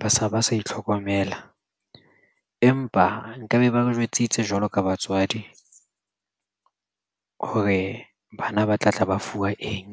ba sa itlhokomela. Empa nkabe ba ba jwetsitse jwalo ka batswadi hore bana ba tlatla ba fuwa eng?